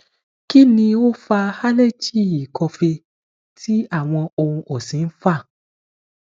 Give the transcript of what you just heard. kini o fa aleji ikọfèé ti awọn ohun ọsin nfa